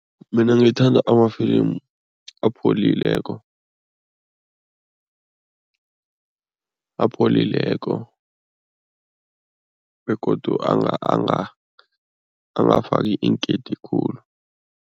Mina ngithanda amafilimu apholileko, apholileko begodu angafaki inkeyiti khulu.